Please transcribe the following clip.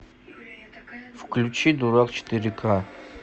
включи дурак четыре ка